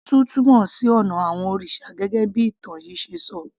Shinto túmọ̀ sí ònà àwon òrìsà gẹ́gẹ́ bí ìtàn yìí ṣe ṣọ